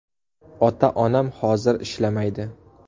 Ota-onam hozir ishlamaydi.